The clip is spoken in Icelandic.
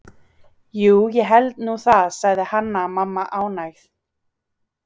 Jú, ég held nú það, sagði Hanna-Mamma ánægð.